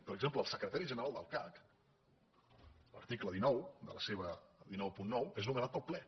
per exemple el secretari general del cac l’ar ticle cent i noranta nou és nomenat pel ple